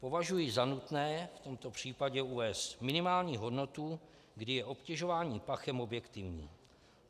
Považuji za nutné v tomto případě uvést minimální hodnotu, kdy je obtěžování pachem objektivní.